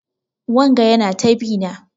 Wanga Yana ta bi na.